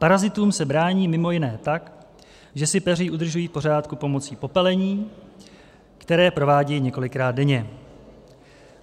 Parazitům se brání mimo jiné tak, že si peří udržují v pořádku pomocí popelení, které provádějí několikrát denně.